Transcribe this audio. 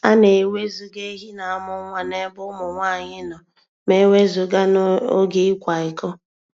A na-ewezụga ehi na-amụ nwa n'ebe ụmụ nwanyị nọ ma e wezụga n'oge ịkwa iko.